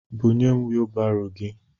Bunyem wiibaro gị!